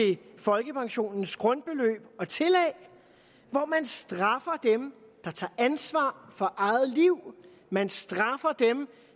folkepensionens grundbeløb og tillæg hvor man straffer dem der tager ansvar for eget liv man straffer dem